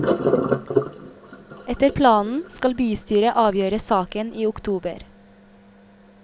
Etter planen skal bystyret avgjøre saken i oktober.